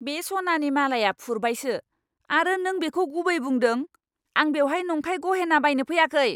बे सनानि मालाया फुरबायसो आरो नों बेखौ गुबै बुंदों? आं बेवहाय नंखाय गहेना बायनो फैयाखै!